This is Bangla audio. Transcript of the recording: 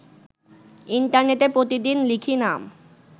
ইন্টারনেটে প্রতিদিন লিখি নাম